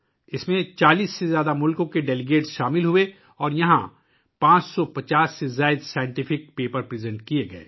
اس میں 40 سے زائد ممالک کے مندوبین نے شرکت کی اور یہاں 550 سے زیادہ سائنسی مقالے پیش کیے گئے